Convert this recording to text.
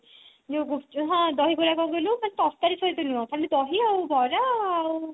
ମୁଁ ଗୁପ୍ଚୁପ ହଁ ଦହିବରା କଣ କହିଲୁ ମାନେ ତରକାରୀ ସହିତ ନୁହଁ ଖାଲି ଦହି ଆଉ ବରା ଆଉ